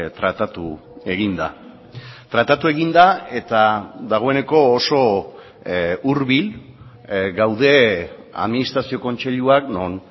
tratatu egin da tratatu egin da eta dagoeneko oso hurbil gaude administrazio kontseiluak non